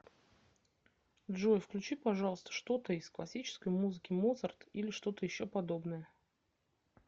джой включи пожалуйста что то из классической музыки моцарт или что то еще подобное